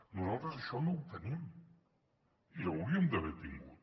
nosaltres això no ho tenim i ho hauríem d’haver tingut